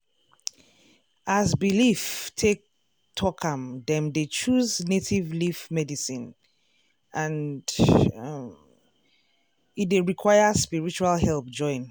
as belief take talk am dem dey choose native leaf medicine and um e dey require spiritual help join.